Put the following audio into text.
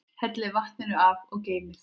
Hellið vatninu af og geymið.